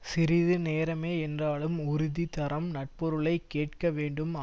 சிறிது நேரமே என்றாலும் உறுதி தரம் நற்பொருளைக் கேட்க வேண்டும்